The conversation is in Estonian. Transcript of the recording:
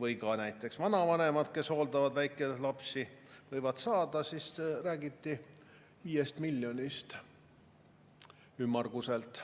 või ka näiteks vanavanemad, kes hooldavad väikelapsi, siis räägiti 5 miljonist, ümmarguselt.